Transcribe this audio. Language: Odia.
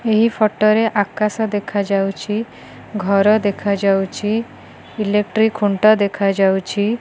ଏହି ଫଟୋ ରେ ଆକାଶ ଦେଖାଯାଉଛି ଘର ଦେଖାଯାଉଛି ଇଲେକ୍ଟ୍ରି ଖୁଣ୍ଟ ଦେଖାଯାଉଛି।